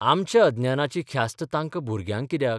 आमच्या अज्ञानाची ख्यास्त तांकां भुरग्यांक कित्याक?